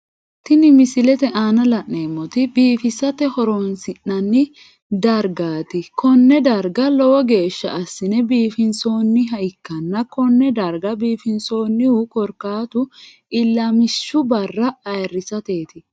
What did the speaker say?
Tinni misilete aanna la'neemoti biifissate horoonsi'noonni dargaati konne darga lowo geesha asine biifinsoonniha ikanna Kone darga biifinsoonnihu korkaatu ilamishu Barra ayirisateti.